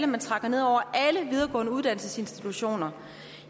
man trækker ned over alle videregående uddannelsesinstitutioner